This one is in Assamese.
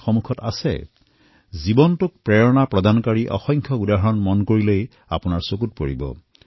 যদি আপুনি কাষৰেপাজৰে লক্ষ্য কৰে তেনেহলে এনেকুৱা কিবা নহয় কিবা প্ৰেৰণাদায়ক পৰিঘটনা দেখা পাবই